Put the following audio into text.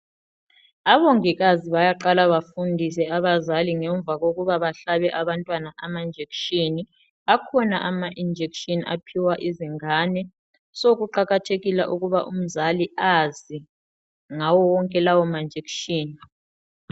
obongikazi bayaqala bafundise abazali ngemva kokuba bahlabe abantwana ama injection akhona ama injection aphiwa izingane so kuqakathekile ukuba umzali azi ngawo wonke lawa ma injection